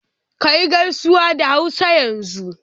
Kayi gaisuwar da Hausa yanzu